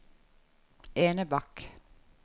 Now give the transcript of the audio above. Enebakk